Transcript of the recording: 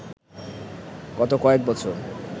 গত কয়েক বছর